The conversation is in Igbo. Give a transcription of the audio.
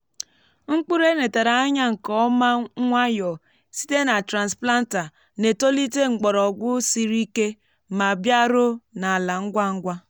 mkpụrụ e netara ányá nkè ọma nwayọ site na transplanter na-etolite mgbọrọgwụ siri ike ma bịaruo n’ala ngwa ngwa.